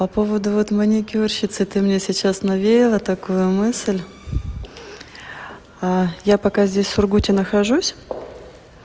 по поводу вот маникюрщицы ты мне сейчас навеяло такую мысль а я пока здесь в сургуте нахожусь